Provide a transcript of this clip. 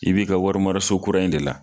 I b'i ka wari maraso kura in de la.